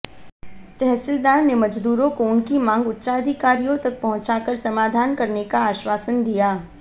तहसीलदार ने मजदूरों को उनकी मांग उच्चाधिकारियों तक पहुंचा कर समाधान करने का आश्वासन दिया